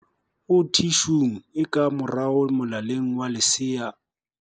O thi shung e ka morao molaleng wa lesea o.